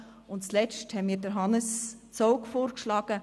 Und zuletzt haben wir Hannes Zaugg vorgeschlagen.